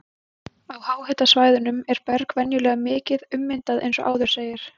Á háhitasvæðunum er berg venjulega mikið ummyndað eins og áður segir.